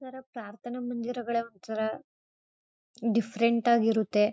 ಒಂಥರ ಪ್ರಾರ್ಥನೆ ಮುಂದಿರೋಗಳೆ ಒಂಥರಾ ದಿಫ್ಫ್ರೆಂಟ್ ಆಗಿರುತ್ತೆ.